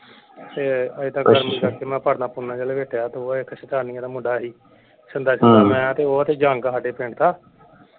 ਤੇ ਏਦਾਂ ਕਰਕੇ ਮੈਂ ਪਰਨਾ ਪੂਰਨਾ ਜੇਹਾ ਲਪੇਟੀਆ ਤੇ ਉਹ ਇਕ ਦਾ ਮੁੰਡਾ ਸੀ ਮੈਂ ਤੇ ਉਹ ਤੇ ਜਾਂਗ ਸਾਡੇ ਪਿੰਡ ਦਾ।